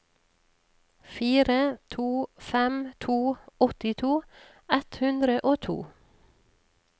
fire to fem to åttito ett hundre og to